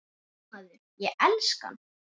Já maður, ég elska hann.